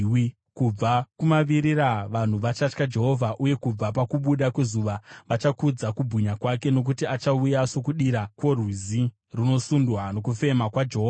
Kubva kumavirira, vanhu vachatya Jehovha, uye kubva pakubuda kwezuva, vachakudza kubwinya kwake. Nokuti achauya sokudira kworwizi runosundwa nokufema kwaJehovha.